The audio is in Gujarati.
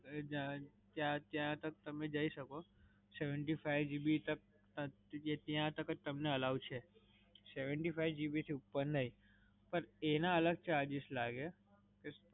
ત્યાં તક તમે જઈ સકો. seventy-five GB તક, ત્યાં તક જ તમને અલાવ છે, seventy-five GB થી ઉપર નહીં. પણ એના અલગ charges લાગે